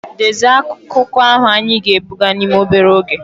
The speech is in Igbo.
Dezie akụkọ ahụ anyị ga-ebuga n'ime obere oge!